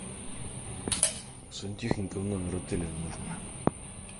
сантехника в номер отеля нужно